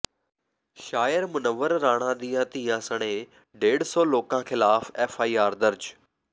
ਸ਼ਾਇਰ ਮੁਨੱਵਰ ਰਾਣਾ ਦੀਆਂ ਧੀਆਂ ਸਣੇ ਡੇਢ ਸੌ ਲੋਕਾਂ ਖਿਲਾਫ ਐੱਫ ਆਈ ਆਰ ਦਰਜ